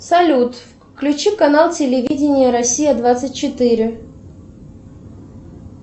салют включи канал телевидения россия двадцать четыре